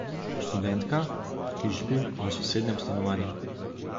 Študentka, ki živi v sosednjem stanovanju.